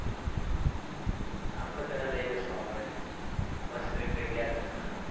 આપણે તને લઇ જાશું આપડે મસ્ત એક જગ્યા જોઈને